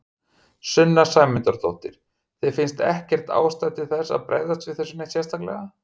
Sunna Sæmundsdóttir: Þér finnst ekkert ástæða til þess að bregðast við þessu neitt sérstaklega?